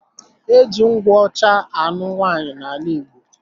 Eji nkwụ ọcha anụ nwaanyi na ala igbo.